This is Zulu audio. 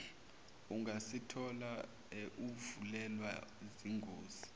ungazithola uvelelwa zingozi